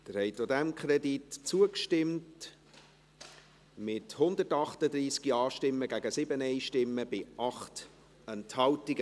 Sie haben auch diesem Kredit zugestimmt, mit 138 Ja- gegen 7 Nein-Stimmen bei 8 Enthaltungen.